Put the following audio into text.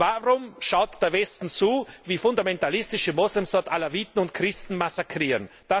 Warum schaut der Westen zu, wie fundmentalistische Moslems dort Alaviten und Christen massakrieren?